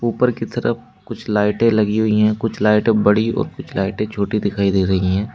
ऊपर की तरफ कुछ लाइटे लगी हुई हैं कुछ लाइटे बड़ी और कुछ लाइटे छोटी दिखाई दे रही हैं।